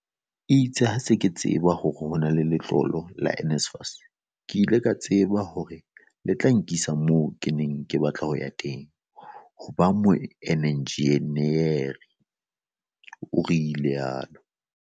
"Itse ha ke se ke tseba hore ho na le letlolo la NSFAS, ke ile ka tseba hore le tla nkisa moo ke neng ke batla ho ya teng - ho ba moenjenieri," o rialo.